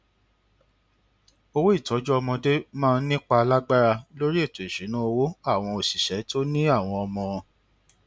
owó ìtọjú ọmọdé máa ń nípa lágbára lórí ètò ìṣúnná owó àwọn òṣìṣẹ tó ní àwọn ọmọ